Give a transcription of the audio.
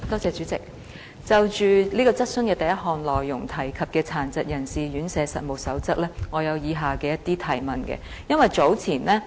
主席，就主體質詢第一部分提及的《殘疾人士院舍實務守則》，我有以下的一些補充質詢。